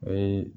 O ye